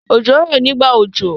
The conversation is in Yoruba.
Òjò ń rọ nígbà òjò.